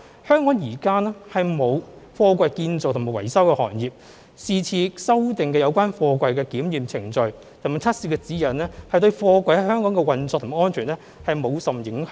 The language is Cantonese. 香港現時並沒有貨櫃建造和維修行業，是次修訂有關貨櫃的檢驗程序和測試指引等對貨櫃在本港的運作和安全無甚影響。